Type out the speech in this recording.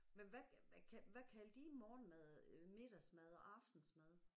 Men hvad hvad kaldte hvad kaldte I morgenmad øh middagsmad og aftensmad?